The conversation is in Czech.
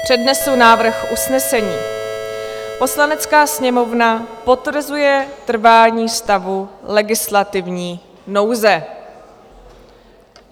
Přednesu návrh usnesení: "Poslanecká sněmovna potvrzuje trvání stavu legislativní nouze."